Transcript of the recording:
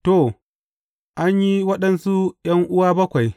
To, an yi waɗansu ’yan’uwa bakwai.